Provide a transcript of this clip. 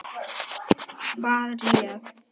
Hvað réð?